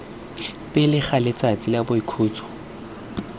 pele ga letsatsi la boikhutso